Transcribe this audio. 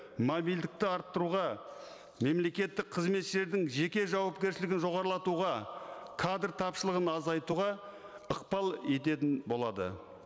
мобильдікті арттыруға мемлекеттік қызметшілердің жеке жауапкершілігін жоғарылатуға кадр тапшылығын азайтуға ықпал ететін болады